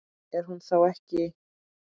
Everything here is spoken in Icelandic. Er hún þá ekki?